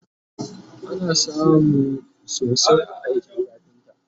ana samun sosai a aikin kafinta